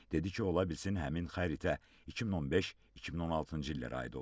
Dedi ki, ola bilsin həmin xəritə 2015-2016-cı illərə aid olub.